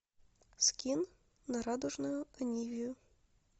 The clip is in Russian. скин на радужную анивию